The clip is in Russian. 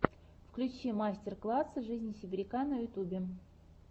включи мастер класс жизни сибиряка на ютюбе